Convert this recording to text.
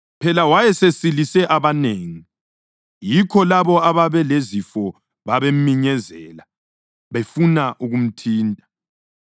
Phela wayesesilise abanengi, yikho labo ababelezifo babeminyezela befuna ukumthinta.